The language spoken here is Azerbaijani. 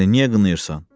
Məni niyə qınayırsan?